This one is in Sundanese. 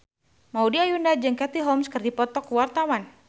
Maudy Ayunda jeung Katie Holmes keur dipoto ku wartawan